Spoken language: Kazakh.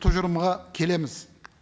тұжырымға келеміз